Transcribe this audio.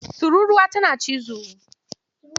Tururruwa tana cizo.